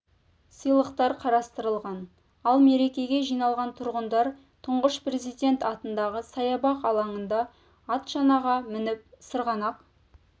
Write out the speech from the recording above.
сыйлықтар қарастырылған ал мерекеге жиналған тұрғындар тұңғыш президент атындағы саябақ алаңында ат шанаға мініп сырғанақ